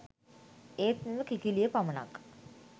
ඒත් මෙම කිකිළිය පමණක්